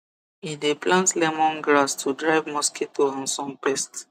e dey plant lemon grass to drive mosquito and some pest